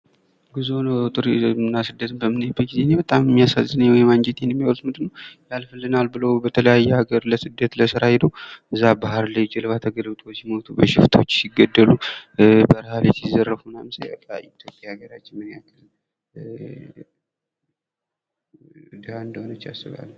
ጉዞ ቱሪዝም እና ስደት በምናይበት ጊዜ እኔ በጣም የሚያሳዝነኝ እና አንጀቴን የሚበላው ነገር ያልፈልናል ብለው የተለያዩ ሀገር ለስደት ለስራ ብለው በባህር ላይ ጀልባ ተገልብጦ ሲሞቱ፣ በሽፍቶች ሲገደሉ፣ በረሃ ላይ ሲዘረጉ ሳይበቃ ምን ያህል ሀገራችን ድሃ እንደሆነች እረዳለሁ።